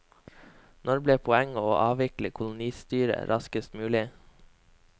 Nå ble poenget å avvikle kolonistyret raskest mulig.